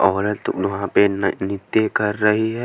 औरत वहाँ पे न नित्य कर रही है।